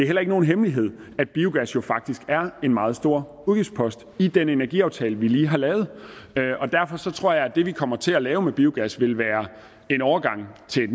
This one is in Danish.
heller ikke nogen hemmelighed at biogas faktisk er en meget stor udgiftspost i den energiaftale vi lige har lavet og derfor tror jeg at det vi kommer til at lave med biogas vil være en overgang til